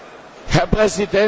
Herr Präsident!